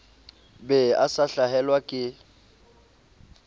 be a sa hlahelwa ke